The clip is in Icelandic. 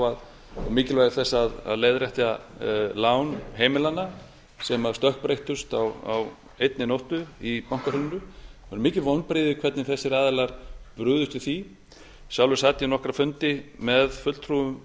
og mikilvægi þess að leiðrétta lán heimilanna sem stökkbreyttust á einni nóttu í bankahruninu það voru mikil vonbrigði hvernig þessir aðilar brugðust við því sjálfur sat ég nokkra fundi með fulltrúum